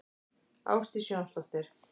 Ásdís Jónsdóttir.